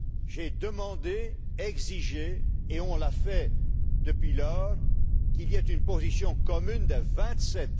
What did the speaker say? J'ai demandé, exigé et on l'a fait depuis lors qu'il y ait une position commune des vingt sept.